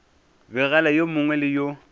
begela yo mongwe le yo